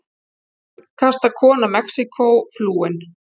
Hugrakkasta kona Mexíkó flúin